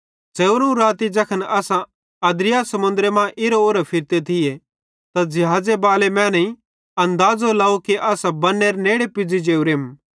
च़ेवधोवं राती ज़ैखन असां अद्रिया समुन्द्रे मां इरां उरां फिरते थिये त ज़िहाज़े बाले मैनेईं अनदाज़ो लाव कि असां बन्नेरे नेड़े पुज़ी जोरेम